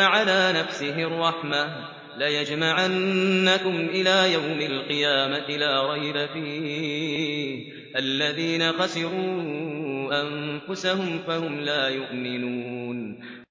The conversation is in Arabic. عَلَىٰ نَفْسِهِ الرَّحْمَةَ ۚ لَيَجْمَعَنَّكُمْ إِلَىٰ يَوْمِ الْقِيَامَةِ لَا رَيْبَ فِيهِ ۚ الَّذِينَ خَسِرُوا أَنفُسَهُمْ فَهُمْ لَا يُؤْمِنُونَ